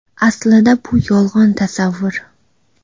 Aslida bu yolg‘on tasavvur.